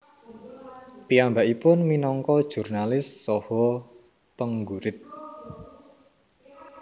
Piyambakipun minangka jurnalis saha penggurit